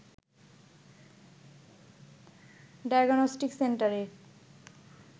diagnostic সেন্টারে